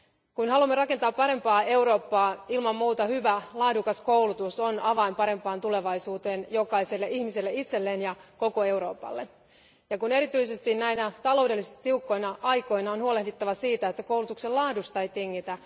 Kun haluamme rakentaa parempaa Eurooppaa, hyvä, laadukas koulutus on ilman muuta avain parempaan tulevaisuuteen jokaiselle ihmiselle itselleen ja koko Euroopalle. Erityisesti näinä taloudellisesti tiukkoina aikoina on huolehdittava siitä, että koulutuksen laadusta ei tingitä.